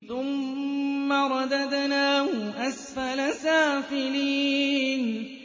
ثُمَّ رَدَدْنَاهُ أَسْفَلَ سَافِلِينَ